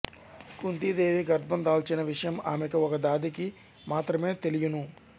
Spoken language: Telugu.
కుంతీ దేవి గర్భందాల్చిన విషయం ఆమెకు ఒక దాదికి మాత్రమే తెలియును